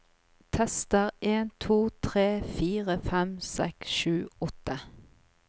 Tester en to tre fire fem seks sju åtte